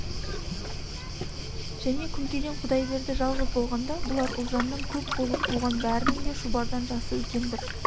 және күнкеден құдайберді жалғыз болғанда бұлар ұлжаннан көп болып туған бәрінің де шұбардан жасы үлкен бір